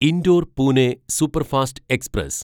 indoor Pune superfast express